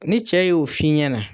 Ni cɛ y'o f'i ɲɛna